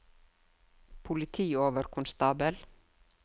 politioverkonstabel